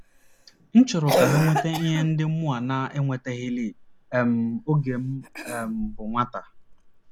M chọrọ ka ha nweta ihe ndị mụnwa na - enwetalighị um oge m um bụ nwata. ”